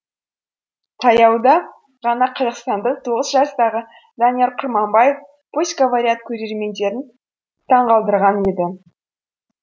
таяуда ғана қазақстандық тоғыз жастағы данияр құрманбаев пусть говорят көрермендерін таңғалдырған еді